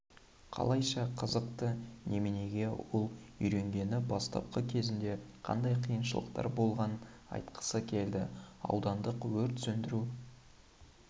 қалайша қызықты неменеге ол үйренгені бастапқы кезінде қандай қиыншылықтар болғанын айтқысы келді аудандық өрт сөндіру